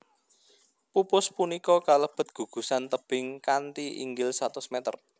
Pupus punika kalebet gugusan tebing kanthi inggil satus meter